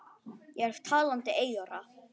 Ég er talandi eyra.